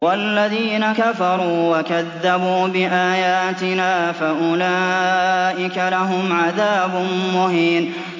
وَالَّذِينَ كَفَرُوا وَكَذَّبُوا بِآيَاتِنَا فَأُولَٰئِكَ لَهُمْ عَذَابٌ مُّهِينٌ